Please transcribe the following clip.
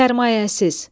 Sərmayəsiz.